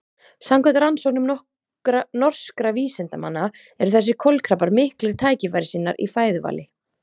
samkvæmt rannsóknum norskra vísindamanna eru þessir kolkrabbar miklir tækifærissinnar í fæðuvali